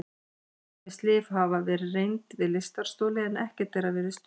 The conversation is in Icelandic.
Ýmis lyf hafa verið reynd við lystarstoli en ekkert þeirra virðist duga.